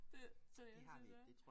Det så ja det så